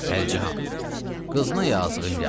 Pəricahan, qızına yazığın gəlsin.